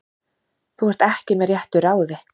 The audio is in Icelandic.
Þú ert ekki með réttu ráði.